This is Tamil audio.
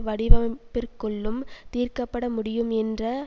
வடிவமைப்பிற்குள்ளும் தீர்க்க பட முடியும் என்ற